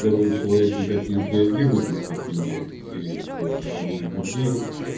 первый человек никак не отреагирует на цветение деревьев то больной аллергией